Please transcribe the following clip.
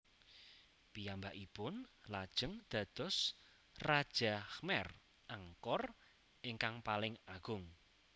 Piyambakipun lajeng dados raja Khmer Angkor ingkang paling agung